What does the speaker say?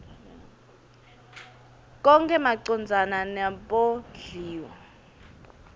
konkhe macondzana nebondliwa